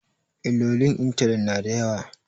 Illolin intanet na da yawa